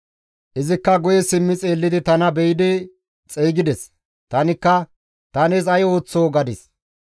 Izikka guye simmi xeellidi tana be7idi xeygides; tanikka, ‹Ta nees ay ooththoo?› gadis.